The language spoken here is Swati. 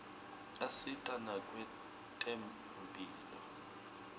asita nakwetemphilo